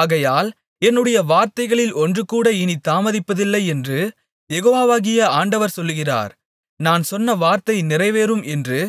ஆகையால் என்னுடைய வார்த்தைகளில் ஒன்றுகூட இனித் தாமதிப்பதில்லையென்று யெகோவாகிய ஆண்டவர் சொல்லுகிறார் நான் சொன்ன வார்த்தை நிறைவேறும் என்று